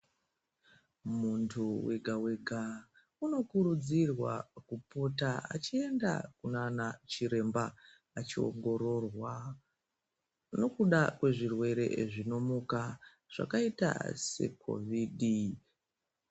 Muntu wega wega, unokurudzirwa kuputa achiyenda kunanachiremba, achiwongororwa nokuda kwezvirwere zvinomuka zvakayita seKhovidi.